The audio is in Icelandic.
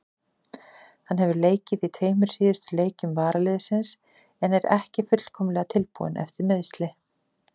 Hann hefur leikið í tveimur síðustu leikjum varaliðsins en er ekki fullkomlega tilbúinn eftir meiðsli.